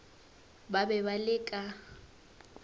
ba be ba le ka